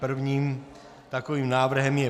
Prvním takovým návrhem je